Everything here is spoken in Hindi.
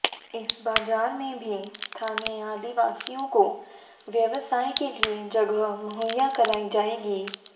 इस बाजार में भी स्थानीय आदिवासियों को व्यवसाय के लिए जगह मुहैया कराई जाएगी